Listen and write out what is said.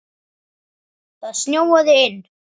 Það snjóaði inn.